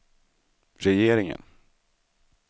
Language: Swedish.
regeringen